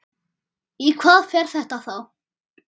Í hvað fer þetta þá?